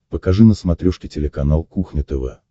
покажи на смотрешке телеканал кухня тв